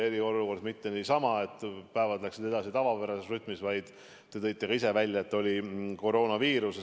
Ja eriolukord ei olnud mitte niisama, et päevad oleksid läinud edasi tavapärases rütmis, vaid te tõite ka ise välja, et oli koroonaviirus.